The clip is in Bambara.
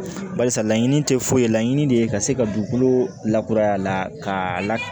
Barisa laɲini tɛ foyi ye laɲini de ye ka se ka dugukolo lakuraya la k'a la